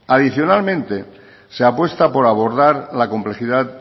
adicionalmente se apuesta por abordar la complejidad